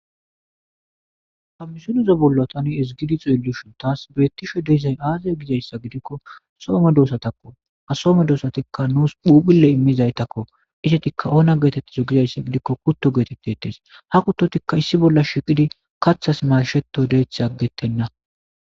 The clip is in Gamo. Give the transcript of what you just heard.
Ha misulizo bollo tani ezigidi xielushon taas beettishe diizay aazaya gizayssa gidikko soome doosatakko a soome doosatikka nuus phuphile immizaytakko isetikka oona geetettizo gizayssa gidikko kutto geetettetes ha kuttotikka issi bolla shiqidi kathas masheto deeth aggetenna.